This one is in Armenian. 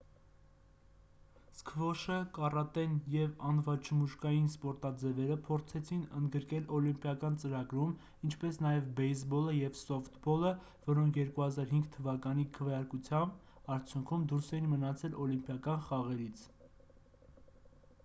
սքվոշը կարատեն և անվաչմուշկային սպորտաձևերը փորձեցին ընդգրկել օլիմպիական ծրագրում ինչպես նաև բեյսբոլը և սոֆթբոլը որոնք 2005 թվականին քվեարկության արդյունքում դուրս էին մնացել օլիմպիական խաղերից